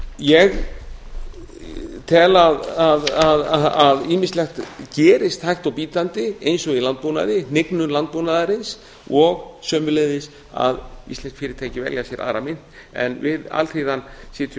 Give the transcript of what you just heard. ég tel að ýmislegt gerist hægt og bítandi eins og í landbúnaði hnignun landbúnaðarins og sömuleiðis að íslensk fyrirtæki velja sér aðra mynt en við alþýðan sitjum